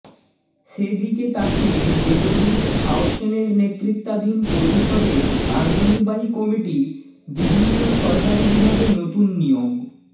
সে দিকে তাকিয়ে দেবজিৎ থাওসেনের নেতৃত্বাধীন পরিষদের কার্যনির্বাহী কমিটি বিভিন্ন সরকারি বিভাগে নতুন নিয়োগ